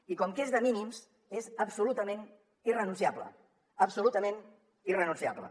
i com que és de mínims és absolutament irrenunciable abso lutament irrenunciable